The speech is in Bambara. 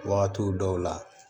Wagatiw dɔw la